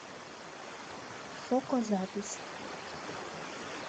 шоко запись